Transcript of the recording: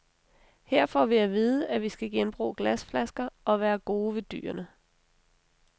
Her får vi at vide, at vi skal genbruge glasflasker og være gode ved dyrene.